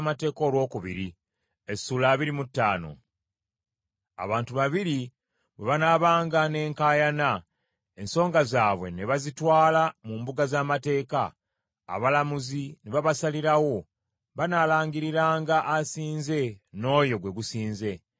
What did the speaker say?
Abantu babiri bwe banaabanga n’enkaayana, ensonga zaabwe ne bazitwala mu mbuga z’amateeka, abalamuzi ne babasalirawo, banaalangiriranga asinze n’oyo gwe gusinze.